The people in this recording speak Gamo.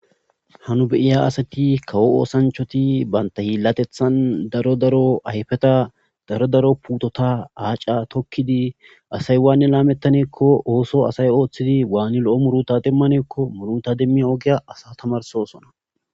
Hanu beyiya asati kawo oosanchoti banta hiillatethan daro daro ayfeta daro daro puutota aaca tokkidi asay waane laamettaneekko ooso asay ooththidi waani lo'o muruta demmaneekko muruta demmi ogiya asa tamarsosona